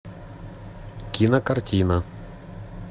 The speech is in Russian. кинокартина